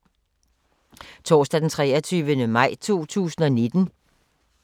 Torsdag d. 23. maj 2019